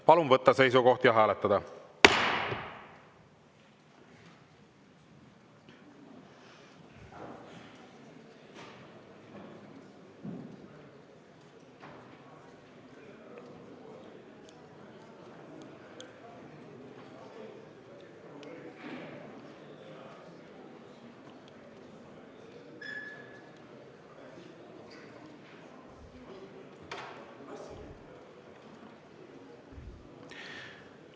Palun võtta seisukoht ja hääletada!